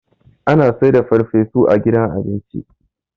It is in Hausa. ana saida farfesu a gida abinci